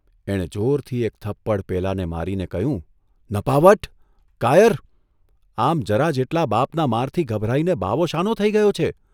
એણે જોરથી એક થપ્પડ પેલાને મારીને કહ્યું, ' નપાવટ, કાયર, આમ જરા જેટલા બાપના મારથી ગભરાઇને બાવો શાનો થઇ ગયો છે?